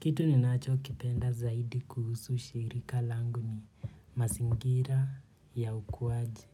Kitu ni nacho kipenda zaidi kuhusu shirika langu ni mazingira ya ukuaji.